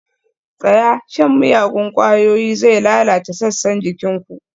Tsaya! shan miyagun ƙwayoyi zai lalata sassan jikin ku